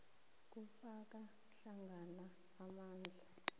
kufaka hlangana amandla